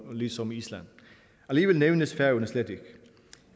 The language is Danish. ligesom island alligevel nævnes færøerne slet ikke